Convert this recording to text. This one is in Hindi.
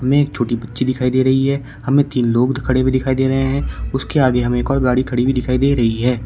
में एक छोटी बच्ची दिखाई दे रही है हमें तीन लोग खड़े हुए दिखाई दे रहे हैं उसके आगे हमें एक और गाड़ी खड़ी हुई दिखाई दे रही है।